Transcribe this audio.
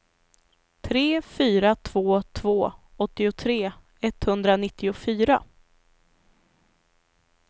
tre fyra två två åttiotre etthundranittiofyra